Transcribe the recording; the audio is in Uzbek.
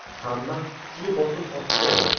Hamma kuchli bosim ostida edi.